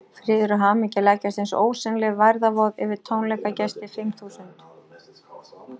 Friður og hamingja leggjast eins og ósýnileg værðarvoð yfir tónleikagestina fimm þúsund.